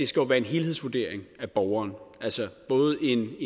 skal være en helhedsvurdering af borgeren altså både en